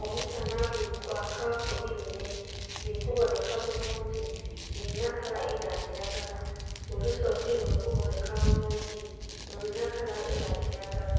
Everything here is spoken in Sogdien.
Omusana guli kwaaka ku bilime bili kubonheka bulungi bilina kala eya kilagala. Olusozi luli ku bonheka bulungi lulina kala eya kilagala,